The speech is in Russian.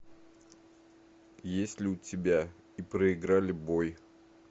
есть ли у тебя и проиграли бой